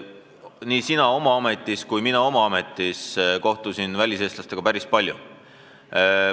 Nii sina oma ametis kui ka mina oma ametis kohtusime väliseestlastega päris palju.